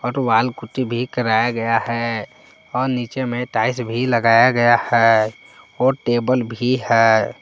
Wall putty भी कराया गया है और नीचे में टाइल्स भी लगाया गया है और टेबल भी है।